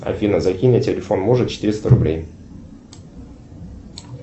афина закинь на телефон мужа четыреста рублей